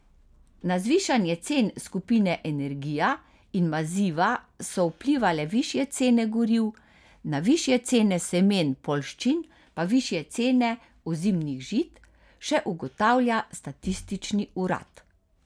Na zvišanje cen skupine energija in maziva so vplivale višje cene goriv, na višje cene semen poljščin pa višje cene ozimnih žit, še ugotavlja statistični urad.